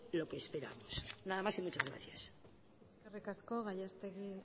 lo que esperamos nada más y muchas gracias eskerrik asko gallastegui